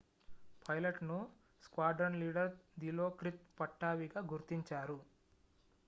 పైలట్ను squadron leader Dilokrit పట్టావీగా గుర్తించారు